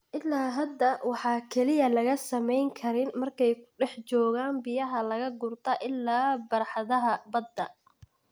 Illaa hadda, waxaa keliya laga sameyn karin markay ku dhex joogaan biyaha laga guurta ilaa barxadaha badda.